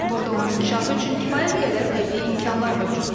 Burada onun inkişafı üçün kifayət qədər təbii imkanlar mövcuddur.